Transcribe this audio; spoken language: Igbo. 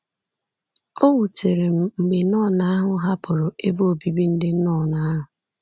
O wutere m mgbe nọn ahụ hapụrụ ebe obibi ndị nọn ahụ.